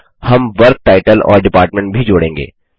हम work title और department भी जोड़ेंगे